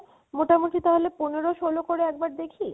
মোটামোটি তাহলে পনের ষোলো করে একবার দেখি